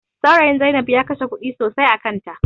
Saurayin Zai inab ya kashe kuɗi sosai a kan ta